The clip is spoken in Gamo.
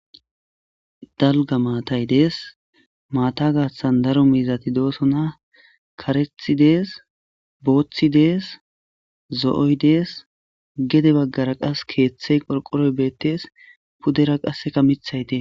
Dalga maatay dees maata gaassan daro mizati dooso na karethi dees booththi dees zo'oy dees gede baggara qas keeththey qorqoroy beettees pudera qasseka mithayde.